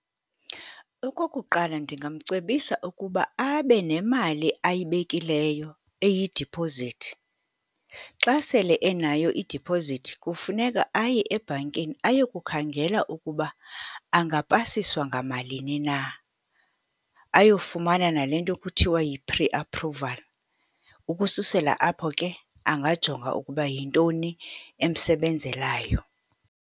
Okokuqala, ndingamcebisa ukuba abe nemali ayibekileyo eyidiphozithi. Xa sele enayo idiphozithi kufuneka aye ebhankini, aye kukhangela ukuba angapasiswa ngamalini na. Ayofumana nale nto kuthiwa yi-pre-approval. Ukususela apho ke, angajonga ukuba yintoni emsebenzelayo.